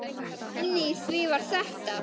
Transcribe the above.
Inni í því var þetta.